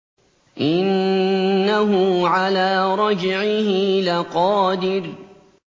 إِنَّهُ عَلَىٰ رَجْعِهِ لَقَادِرٌ